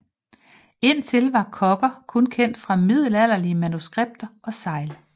Indtil var kogger kun kendt fra middelalderlige manuskripter og segl